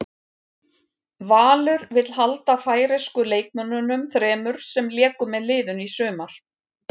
Valur vill halda færeysku leikmönnunum þremur sem léku með liðinu í sumar.